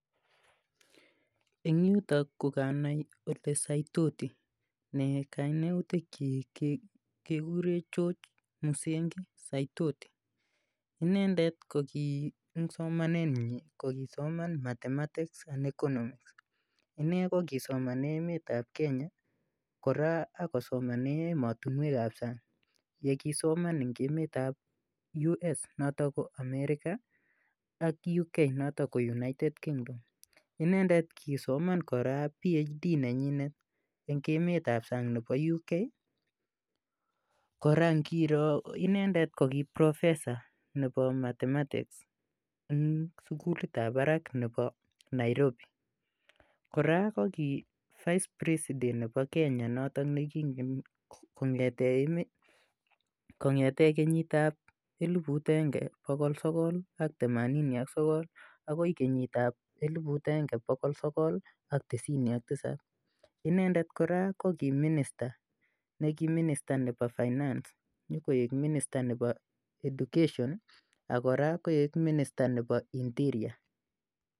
Eng yutok ko kanai ole Saitoti, ne kainautikchik kekure George Musengi Saitoti, inendet ko ki eng somanenyi ko kisoman mathematics and economics, ine ko kisomane emetab Kenya kora ak kosomane emotinwekab sang, ye kisoman eng emetab US noto ko America ak uk notok ko United Kingdom, inendet kisoman kora phd nenyinet eng emetab sang nebo UK, kora ngiro inendet ko ki proffesor nebo mathematics eng sukulitab barak nebo Nairobi, kora ko ki vice president nebo kenya notok ne kongete kenyitab eliput akenge bokol sokol ak themanini ak sokol akoi kenyitab eliput akenge bokol sokol ak tisini ak tisap, inendet kora ko ki minister neki minister nebo finance nyikoek minister nebo education ak kora koek minister nebo interior.